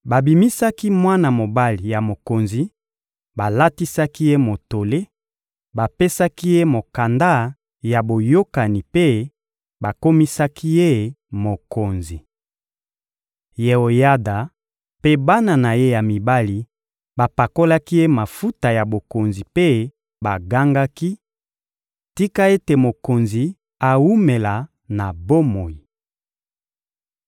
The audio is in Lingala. Babimisaki mwana mobali ya mokonzi, balatisaki ye motole, bapesaki ye mokanda ya boyokani mpe bakomisaki ye mokonzi. Yeoyada mpe bana na ye ya mibali bapakolaki ye mafuta ya bokonzi mpe bagangaki: «Tika ete mokonzi awumela na bomoi!»